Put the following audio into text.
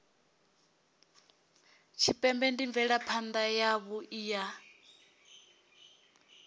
tshipembe ndi mvelaphana yavhui ya